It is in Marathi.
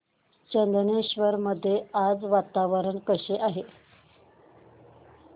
चंदनेश्वर मध्ये आज वातावरण कसे आहे